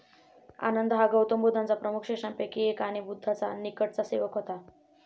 आनंद हा गौतम बुद्धांच्या प्रमुख शिष्यांपैकी एक आणि बुद्धाचा निकटचा सेवक होता.